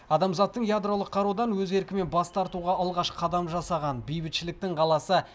адамзаттың ядролық қарудан өз еркімен бас тартуға алғаш қадам жасаған бейбітшіліктің қаласы